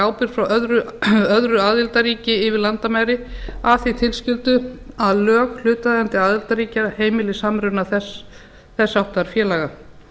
ábyrgð frá öðru aðildarríki yfir landamæri að því tilskildu að lög hlutaðeigandi aðildarríkja heimili samruna þess háttar félaga